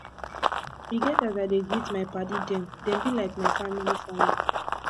e get as i dey greet my paddy dem dem be like mt family family